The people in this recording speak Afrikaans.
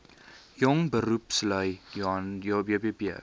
jong beroepslui jbp